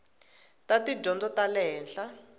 ta tidyondzo ta le henhla